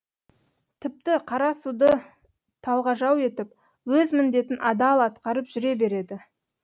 тіпті қара суды талғажау етіп өз міндетін адал атқарып жүре береді